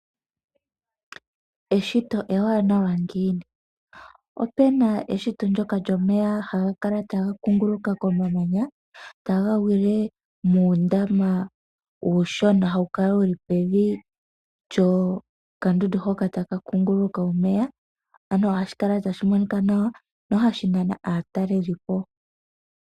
Eshito ewanawa ngiini! Opena eshito ndoka lyomeya haga kala taga kunguluka komamanya taga gwile muundama uushona, hawu kala pevi lyokandundu hoka taka kunguluka omeya. Ano ohasbi kala tashi monika nawa, na ohashi nana aatalelipo.